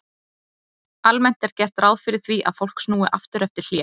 Almennt er gert ráð fyrir því að fólk snúi aftur eftir hlé.